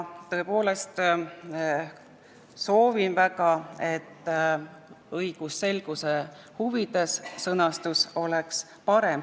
Tõepoolest soovin väga, et õigusselguse huvides oleks sõnastus parem.